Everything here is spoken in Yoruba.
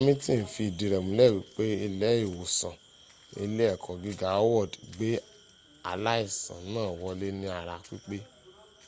hamilton fi idi re mule wipe ile iwosan ile eko giga howard gba alaisan na wole ni ara pipe